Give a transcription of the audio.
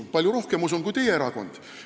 Usun palju rohkem kui teie erakond.